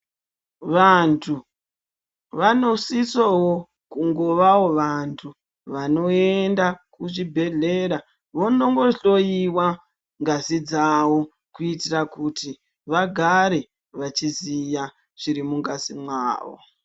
Vanthu vanosisoo kungovawo vanthu vanoenda kuzvibhedhlera vongondohloiwa ngazi dzavo kuitira kuti vagare vachiziya zviri mungazi mwawo.